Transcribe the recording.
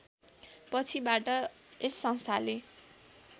पछिबाट यस संस्थाले